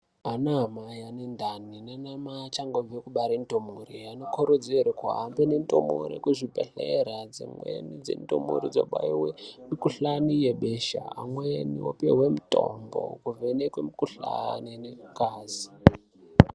Anamai ane ndani nanamai achangobve kubare ndumure anokurudzirwa kuhambe nendumure kuzvibhedhleya dzimweni dzendumure dzobaiwe mikuhlani yebesha amweni opihwe mitombo yekuvheneke mikuhlani nengazi.